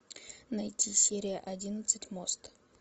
найти серия одиннадцать мост